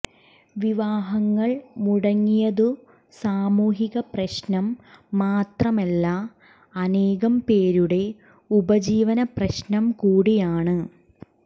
വിവാഹങ്ങൾ മുടങ്ങിയതു സാമൂഹിക പ്രശ്നം മാത്രമല്ല അനേകം പേരുടെ ഉപജീവന പ്രശ്നം കൂടിയാണ്